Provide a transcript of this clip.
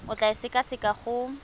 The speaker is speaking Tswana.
o tla e sekaseka go